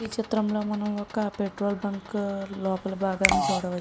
ఈ చిత్రంలో మనం పెట్రోల్ బంకు లోపల భాగాన్ని చూడవచ్చు.